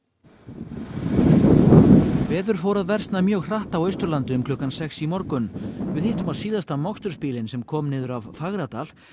veður fór að versna mjög hratt á Austurlandi um klukkan sex í morgun við hittum á síðasta mokstursbílinn sem kom niður af Fagradal